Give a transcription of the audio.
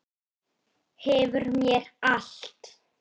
Hverfur mér allt.